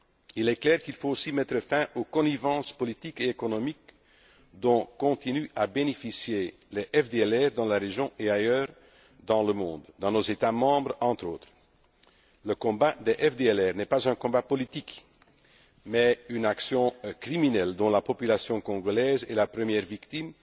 Il est clair qu'il faut aussi mettre fin aux connivences politiques et économiques dont les FDLR continuent à bénéficier dans la région et ailleurs dans le monde, dans nos États membres entre autres. Le combat des FDLR n'est pas un combat politique, mais une action criminelle dont la population congolaise est la première victime,